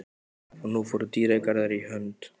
Og nú fóru dýrðardagar í hönd.